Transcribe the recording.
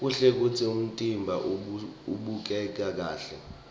kuhle kutsi umtimba ubukeke kahle